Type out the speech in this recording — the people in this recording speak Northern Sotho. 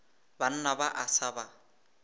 banna ba a sa ba